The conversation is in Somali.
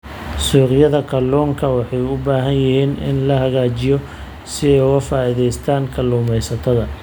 Suuqyada kalluunka waxa ay u baahan yihiin in la hagaajiyo si ay uga faa�iidaystaan ??kalluumaysatada.